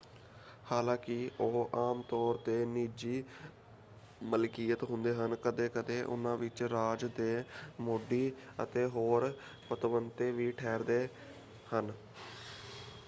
ਹਾਲਾਂਕਿ ਉਹ ਆਮ ਤੌਰ 'ਤੇ ਨਿੱਜੀ ਮਲਕੀਅਤ ਹੁੰਦੇ ਹਨ ਕਦੇ ਕਦੇ ਉਹਨਾਂ ਵਿੱਚ ਰਾਜ ਦੇ ਮੋਢੀ ਅਤੇ ਹੋਰ ਪਤਵੰਤੇ ਵੀ ਠਹਿਰਦੇ ਹਨ।